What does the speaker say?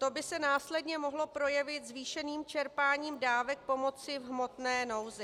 To by se následně mohlo projevit zvýšeným čerpáním dávek pomoci v hmotné nouzi.